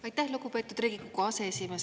Aitäh, lugupeetud Riigikogu aseesimees!